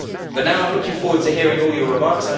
But now I am looking forward to hearing all your remarks.